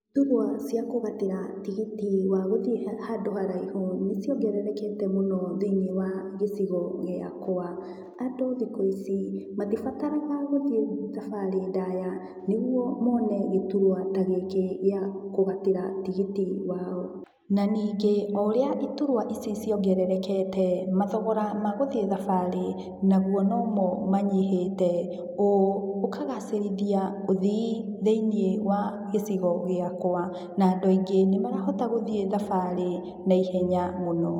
Thurua cia kũgatĩra tigiti wa gũthiĩ handũ haraihu nĩciongererekete mũno thĩiniĩ wa gĩcigo gĩakwa andũ thikũ ici matibataraga gũthiĩ thabarĩ ndaya nĩguo mone gĩturwa ta gĩkĩ gĩa kũgatĩra tigiti wao, na ningĩ o ũrĩa iturwa ici ciongererekete mathogora ma gũthiĩ thabarĩ naguo nomo manyihĩte ũũ ũkagacĩrithia ũthii thĩiniĩ wa gĩcigo gĩkwa na andũ aingĩ nĩmarahota gũthiĩ thabarĩ na ihenya mũno.